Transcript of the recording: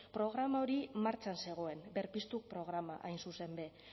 programa hori martxan zegoen berpiztu programa hain zuzen be